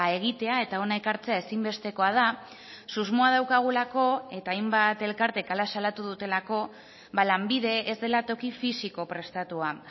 egitea eta hona ekartzea ezinbestekoa da susmoa daukagulako eta hainbat elkartek hala salatu dutelako lanbide ez dela toki fisiko prestatua